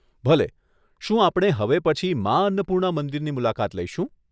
ભલે, શું આપણે હવે પછી મા અન્નપૂર્ણા મંદિરની મુલાકાત લઈશું?